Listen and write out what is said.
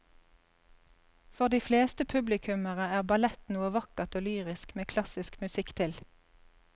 For de fleste publikummere er ballett noe vakkert og lyrisk med klassisk musikk til.